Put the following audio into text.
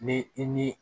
Ni i ni